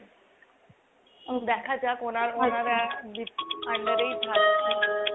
দেখা যাক ওনারা under এই থাকছি।